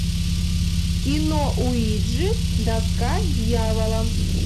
кино уиджи доска дьявола